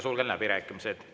Sulgen läbirääkimised.